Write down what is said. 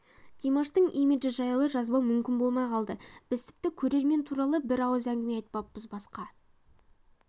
димаштың имиджі жайлы жазбау мүмкін болмай қалды біз тіпті көрермен туралы бір ауыз әңгіме айтпаппыз басқа